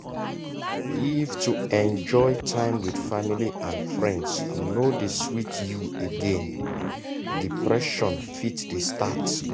if to enjoy time with family and friends no dey sweet you again depression fit dey start